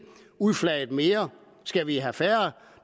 udflaget mere skal vi have færre